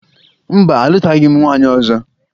Mba, alụtaghị m nwaanyị ọzọ